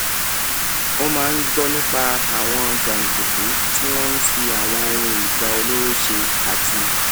ó máa ń gbó nípa àwọn jàǹdùkú tí wọ́n fi àwọn ohun ìjà olóró ṣe àti